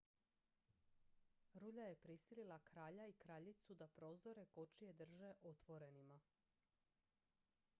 rulja je prisilila kralja i kraljicu da prozore kočije drže otvorenima